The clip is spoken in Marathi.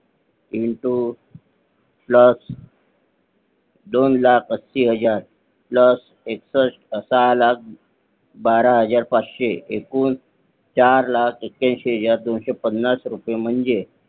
Into Plus दोन लाख ऐंशी हजार Plus सहा लाख बारा हजार पाचशे एकूण चार लाख एक्याऐंशी हजार दोनशे पन्नास रुपये म्हणजे